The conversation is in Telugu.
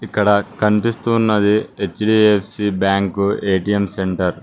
ఇక్కడ కనిపిస్తున్నది హెచ్_డి_ఎఫ్_సి బ్యాంకు ఎ_టి_ఎం సెంటర్ .